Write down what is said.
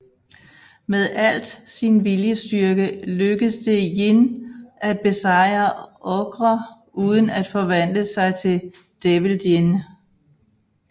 Med alt sin viljestyrke lykkes det Jin at besejre Ogre uden at forvandle sig til Devil Jin